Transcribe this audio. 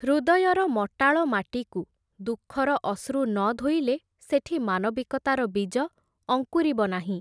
ହୃଦୟର ମଟାଳ ମାଟିକୁ ଦୁଃଖର ଅଶ୍ରୁ ନ ଧୋଇଲେ, ସେଠି ମାନବିକତାର ବୀଜ ଅଙ୍କୁରିବ ନାହିଁ ।